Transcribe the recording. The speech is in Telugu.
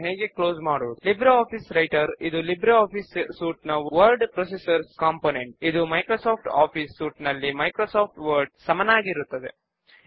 ఇందులో మనము ఈ క్రింద తెలిపిన కేస్ ను తీసుకుందాము లైబ్రరీ లోని అందరు సభ్యులను మనము ఎలా లిస్ట్ చేస్తాము